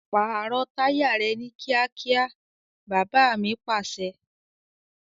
Pààrọ̀ táyà rẹ ni kíákíá! Baba mi Pàṣẹ.